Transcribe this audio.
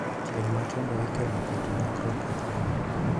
Tieng' matindo ikelo kod lokruok e gund